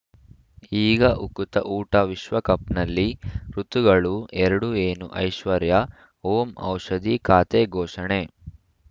ಈಗ ಉಕುತ ಊಟ ವಿಶ್ವಕಪ್‌ನಲ್ಲಿ ಋತುಗಳು ಎರಡು ಏನು ಐಶ್ವರ್ಯಾ ಓಂ ಔಷಧಿ ಖಾತೆ ಘೋಷಣೆ